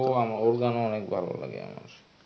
ও ওর গানও অনেক ভালো লাগে আমার.